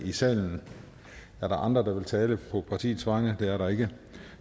i salen er der andre der vil tale på partiets vegne det er der ikke